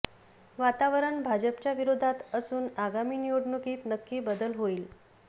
वातावरण भाजपच्या विरोधात असून आगामी निवडणुकीत नक्की बदल होईल